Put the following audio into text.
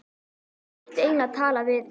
Ég ætti eiginlega að tala við